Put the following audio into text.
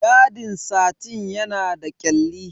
Yadin satin yana da kyalli.